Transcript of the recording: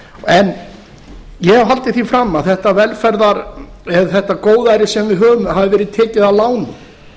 en ég hef haldið því fram að þetta góðæri sem við höfum hafi verið tekið að láni